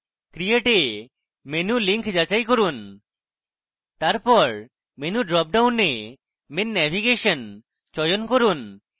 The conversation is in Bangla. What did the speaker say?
create a menu link যাচাই করুন তারপর menu drop ডাউনে main navigation চয়ন করুন